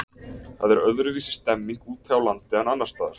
Það er öðruvísi stemming úti á landi en annarsstaðar.